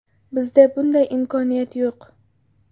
Bizda bunday imkoniyat yo‘q.